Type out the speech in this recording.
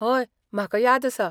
हय, म्हाका याद आसा.